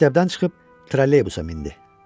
Məktəbdən çıxıb trolleybusa mindi.